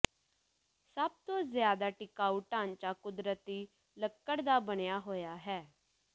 ਸਭ ਤੋਂ ਜ਼ਿਆਦਾ ਟਿਕਾਊ ਢਾਂਚਾ ਕੁਦਰਤੀ ਲੱਕੜ ਦਾ ਬਣਿਆ ਹੋਇਆ ਹੈ